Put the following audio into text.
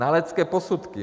Znalecké posudky.